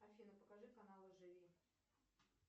афина покажи каналы живи